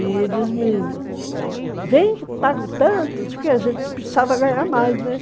E eles me... Vem que pago tanto, porque a gente precisava ganhar mais, né?